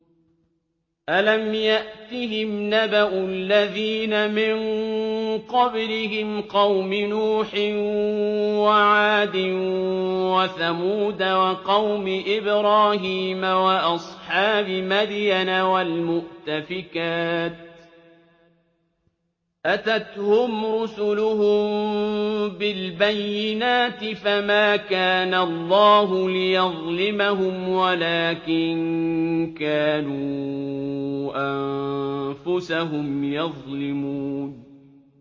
أَلَمْ يَأْتِهِمْ نَبَأُ الَّذِينَ مِن قَبْلِهِمْ قَوْمِ نُوحٍ وَعَادٍ وَثَمُودَ وَقَوْمِ إِبْرَاهِيمَ وَأَصْحَابِ مَدْيَنَ وَالْمُؤْتَفِكَاتِ ۚ أَتَتْهُمْ رُسُلُهُم بِالْبَيِّنَاتِ ۖ فَمَا كَانَ اللَّهُ لِيَظْلِمَهُمْ وَلَٰكِن كَانُوا أَنفُسَهُمْ يَظْلِمُونَ